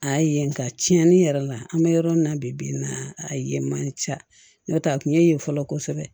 A ye nka tiɲɛni yɛrɛ la an bɛ yɔrɔ min na bi bi in na a ye man ca n tɛ a tun ye fɔlɔ kosɛbɛ